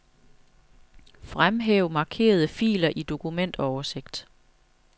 Fremhæv markerede filer i dokumentoversigt.